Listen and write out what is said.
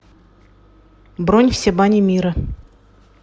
бронь все бани мира